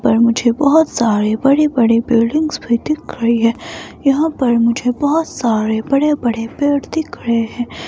पर मुझे बहोत सारे बड़े बड़े बिल्डिंग्स भी दिख रही है यहां पर मुझे बहोत सारे बड़े बड़े पेड़ दिख रहे हैं।